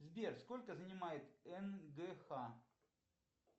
сбер сколько занимает нгх